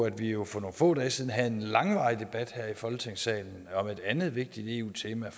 at vi jo for nogle få dage siden havde en langvarig debat her i folketingssalen om et andet vigtigt eu tema